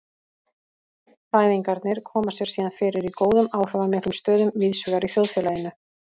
Fræðingarnir koma sér síðan fyrir í góðum áhrifamiklum stöðum víðsvegar í þjóðfélaginu.